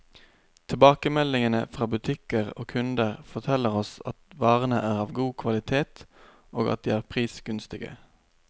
Tilbakemeldingene fra butikker og kunder, forteller oss at varene er av god kvalitet, og at de er prisgunstige.